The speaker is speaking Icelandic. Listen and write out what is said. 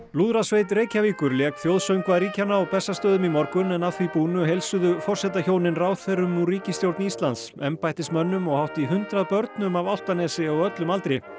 lúðrasveit Reykjavíkur lék þjóðsöngva ríkjanna á Bessastöðum í morgun en að því búnu heilsuðu forsetahjónin ráðherrum úr ríkisstjórn Íslands embættismönnum og hátt í hundrað börnum af Álftanesi á öllum aldri